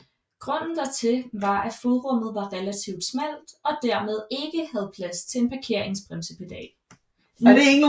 Grunden dertil var at fodrummet var relativt smalt og dermed ikke havde plads til en parkeringsbremsepedal